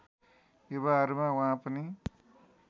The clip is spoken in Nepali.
युवाहरूमा उहाँ पनि